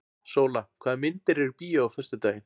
Sóla, hvaða myndir eru í bíó á föstudaginn?